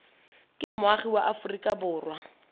ke moagi wa aforika borwa